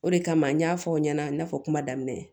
O de kama n y'a fɔ aw ɲɛna n y'a fɔ kuma daminɛ